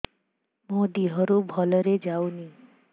ମୋ ଦିହରୁ ଭଲରେ ଯାଉନି